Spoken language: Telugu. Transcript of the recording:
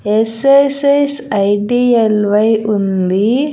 ఎస్_ఎస్_ఎస్ ఐ_డి_ఎల్_వై ఉంది.